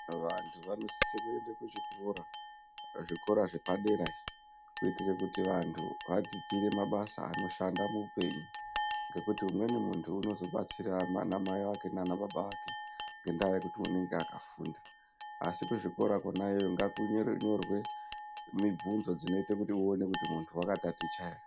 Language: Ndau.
Vantu vanosise kuende kuchikora kuzvikora zvepadera izvi. Kuitire kuti vantu vadzidzire mabasa anoshanda muupenyu. Ngekuti umweni muntu unozobetsira ana mai vake nana baba vake ngendaa yekuti unonga akafunda. Asi kuzvikora kona iyoyo ngakunonyorwe mibvudzo dzinoite kuti uone kuti muntu vakataticha ere.